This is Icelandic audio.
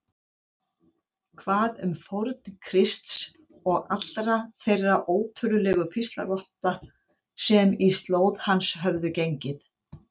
Hvað um fórn Krists og allra þeirra ótölulegu píslarvotta sem í slóð hans höfðu gengið?